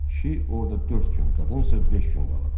Kişi orda dörd gün, qadınsa beş gün qalıb.